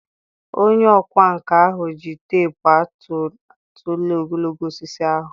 Onye ọkwá nkà ahụ ji teepu atụ tụlee ogologo osisi ahụ